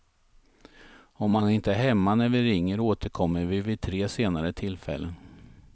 Om man inte är hemma när vi ringer återkommer vi vid tre senare tillfällen.